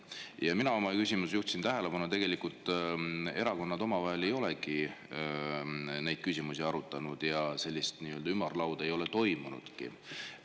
Ja mina oma küsimuses juhtisin tähelepanu, et tegelikult erakonnad omavahel ei olegi neid küsimusi arutanud ja sellist nii-öelda ümarlauda ei ole toimunudki.